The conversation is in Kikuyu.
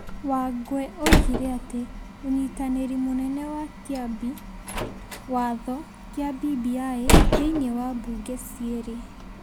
Wangwe oigire atĩ ũnyitanĩri mũnene wa kĩambi watho kĩa BBI thĩinĩ wa mbunge ciĩrĩ ,